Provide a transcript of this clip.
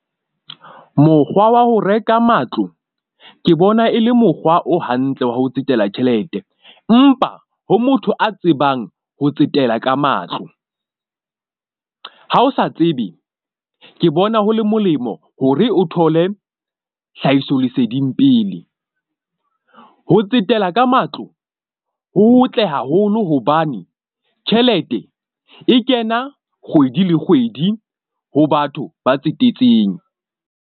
Mokgwa wa ho reka matlo ke bona e le mokgwa o hantle wa ho tsetela tjhelete, empa ho motho a tsebang ho tsetela ka matlo. Ha o sa tsebe ke bona, ho le molemo hore o thole hlahisoleseding pele. Ho tsetela ka matlo ho hotle haholo hobane tjhelete e kena kgwedi le kgwedi ho batho ba tsetetseng.